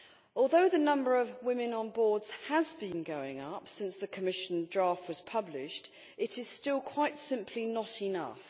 Although the number of women on boards has been going up since the Commission draft was published, it is still, quite simply, not enough.